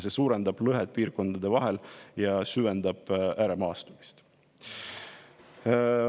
See suurendab lõhet piirkondade vahel ja süvendab ääremaastumist.